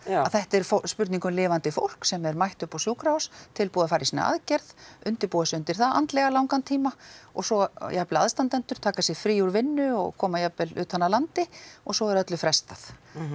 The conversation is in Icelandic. að þetta er spurning um lifandi fólk sem er mætt upp á sjúkrahús tilbúið að fara í sína aðgerð undirbúa sig undir það andlega í langan tíma og svo jafnvel aðstandendur taka sér frí úr vinnu og koma jafnvel utan af landi og svo er öllu frestað